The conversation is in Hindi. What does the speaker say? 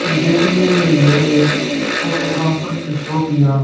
देखने में यह एक फोटोग्राफर की सोफिया--